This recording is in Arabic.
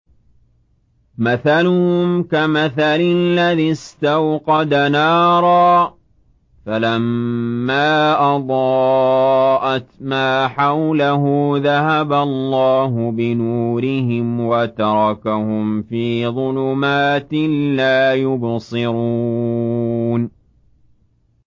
مَثَلُهُمْ كَمَثَلِ الَّذِي اسْتَوْقَدَ نَارًا فَلَمَّا أَضَاءَتْ مَا حَوْلَهُ ذَهَبَ اللَّهُ بِنُورِهِمْ وَتَرَكَهُمْ فِي ظُلُمَاتٍ لَّا يُبْصِرُونَ